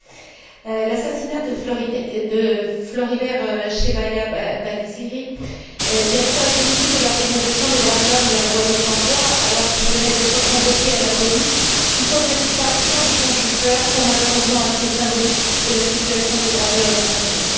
Monsieur le Président, l'assassinat de Floribert Chebeya Bahizire, directeur exécutif de l'organisation des droits de l'homme, La Voix des Sans Voix, alors qu'il venait d'être convoqué à la police, tout comme la disparition de son chauffeur, sont malheureusement, assez symboliques de la situation des droits de l'homme au Congo.